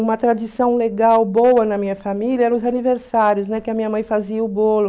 Uma tradição legal, boa na minha família eram os aniversários, né, que a minha mãe fazia o bolo.